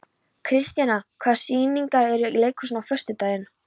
Kristíanna, hvaða sýningar eru í leikhúsinu á föstudaginn?